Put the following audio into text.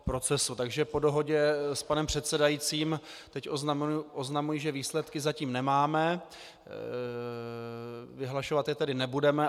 Takže po dohodě s panem předsedajícím teď oznamuji, že výsledky zatím nemáme, vyhlašovat je tedy nebudeme.